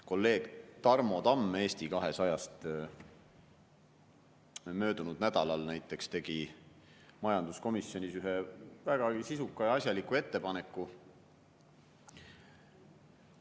Kolleeg Tarmo Tamm Eesti 200-st möödunud nädalal näiteks tegi majanduskomisjonis ühe vägagi sisuka ja asjaliku ettepaneku.